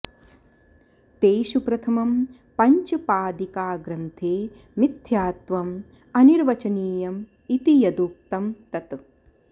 तेषु प्रथमं पञ्चपादिकाग्रन्थे मिथ्यात्वम् अनिर्वचनीयम् इति यदुक्तं तत्